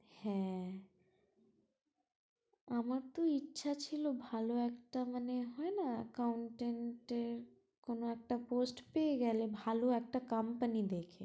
হ্যাঁ আমরা তো ইচ্ছা ছিল ভালো একটা মানে হয় না accountant এর কোনো একটা post পেয়ে গেলে ভালো একটা কোম্পানি দেখে